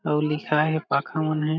अउ लिखा हे पाखा मन हे।